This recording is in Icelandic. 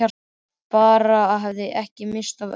Bara að hann hefði ekki misst af öllu.